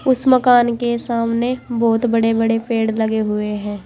उस मकान के सामने बहोत बड़े बड़े पेड़ लगे हुए हैं।